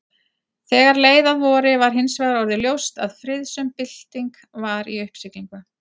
Þegar leið að vori var hinsvegar orðið ljóst að friðsöm bylting var í uppsiglingu.